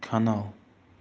канал